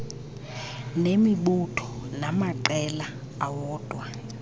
nemibutho namaqela awodwa